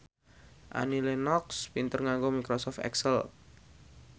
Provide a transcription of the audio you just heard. Annie Lenox pinter nganggo microsoft excel